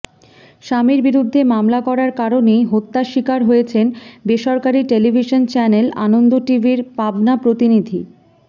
স্বামীর বিরুদ্ধে মামলা করার কারণেই হত্যার শিকার হয়েছেন বেসরকারি টেলিভিশন চ্যানেল আনন্দ টিভির পাবনা প্রতিনিধি